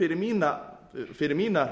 fyrir mína